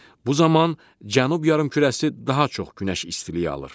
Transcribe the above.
Bu zaman cənub yarımkürəsi daha çox günəş istiliyi alır.